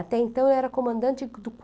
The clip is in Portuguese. Até então, eu era comandante do